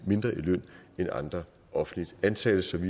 mindre i løn end andre offentligt ansatte så vi